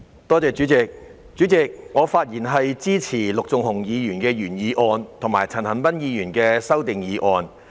代理主席，我發言支持陸頌雄議員的原議案，以及陳恒鑌議員的修正案。